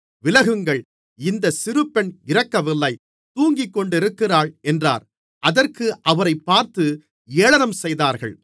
விலகுங்கள் இந்த சிறுபெண் இறக்கவில்லை தூங்கிக்கொண்டிருக்கிறாள் என்றார் அதற்காக அவரைப் பார்த்து ஏளனம் செய்தார்கள்